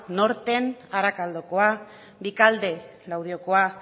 norten arakaldakoa vicalde laudioko